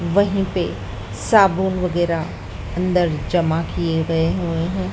वहीं पे साबुन वगेरा अंदर जमा किए गए है।